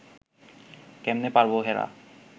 কেমনে পারব হেরা